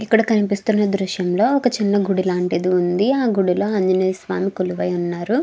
ఇక్కడ కనిపిస్తున్న దృశ్యం లో ఒక చిన్న గుడి లాంటిది ఉంది. ఆ గుడి లో ఆంజనేయ స్వామి కొలువై ఉన్నారు.